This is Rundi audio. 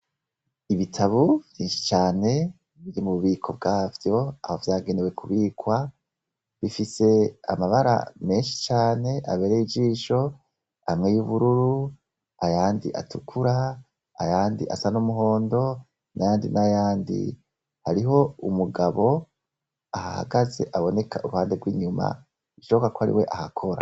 ibitabo vyinshi cane biri mu bubiko bwavyo, aho vyagenewe kubikwa bifis' amabara menshi can' aberey' ijisho amwe y' ubururu, ayand' atukura, ayand' as' umuhondo , n' ayandi n'ayandi, harih' umugab' ahahagaz' abonek' uruhande rw' inyuma bishoboka k' ariw' ahakora.